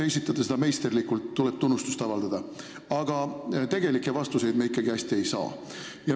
Te esitate seda meisterlikult, tuleb tunnustust avaldada, aga tegelikke vastuseid me ikkagi hästi ei saa.